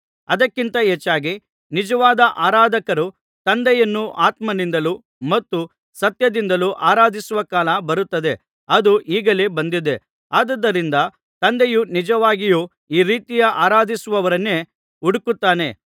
ಅದಕ್ಕಿಂತ ಹೆಚ್ಚಾಗಿ ನಿಜವಾದ ಆರಾಧಕರು ತಂದೆಯನ್ನು ಆತ್ಮನಿಂದಲೂ ಮತ್ತು ಸತ್ಯದಿಂದಲೂ ಆರಾಧಿಸುವ ಕಾಲ ಬರುತ್ತದೆ ಅದು ಈಗಲೇ ಬಂದಿದೆ ಅದುದರಿಂದ ತಂದೆಯು ನಿಜವಾಗಿಯೂ ಈ ರೀತಿ ಆರಾಧಿಸುವವರನ್ನೇ ಹುಡುಕುತ್ತಾನೆ